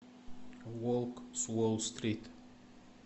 волк с уолл стрит